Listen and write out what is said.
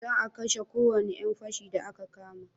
Za a kashe ko wani yan fashi da a ka kama